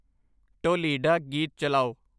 ਢੋਲੀਡਾ ਗੀਤ ਚਲਾਓ'